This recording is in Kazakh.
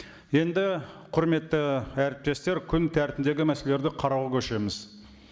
енді құрметті әріптестер күн тәртібіндегі мәселелерді қарауға көшеміз